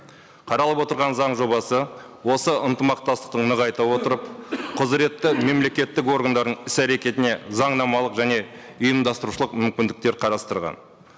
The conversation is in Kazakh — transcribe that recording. қаралып отырған заң жобасы осы ынтымақтастықты нығайта отырып құзіретті мемлекеттік органдардың іс әрекетіне заңнамалық және ұйымдастырушылық мүмкіндіктер қарастырған